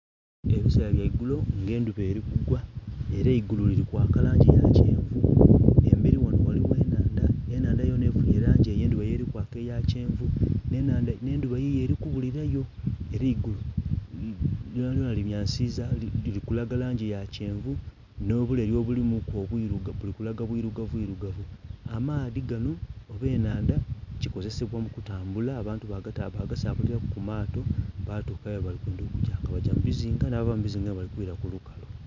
Ebiseera bya igulo nga endhuba eri kugwa, era eigulu liri kwaka langi ya kyenvu. Emberi ghano ghaligho enhandha, enhandha yona ekubye elangi ey'endhuba elikwaka eya kyenvu, nh'endhuba yiyo eri kubulilayo. Era eigulu lyonalyona limyansiza liri kulaga langi ya kyenvu nh'obuleri obulimuku obwirugavu, buli kulaga bwirugavu bwirugavu. Amaadhi gano oba enhandha, kikozesebwa mu kutambula, abantu bagasabalilaku ku maato batuuka ghebali kwendha okugya, nga bagya mu bizinga nh'abava mu bizinga nga aye bali kwila ku lukalu.